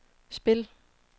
spil